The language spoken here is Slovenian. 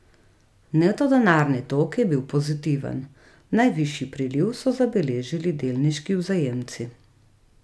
Neto denarni tok je bil pozitiven, najvišji priliv so zabeležili delniški vzajemci.